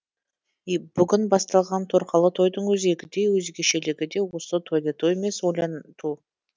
бүгін басталған торқалы тойдың өзегі де өзгешелігі де осы тойлату емес ойланту